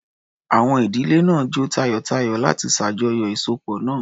Àwọn ìdílé náà jó tayọ̀tayọ̀ láti ṣàjọyọ̀ ìsopọ̀ náà.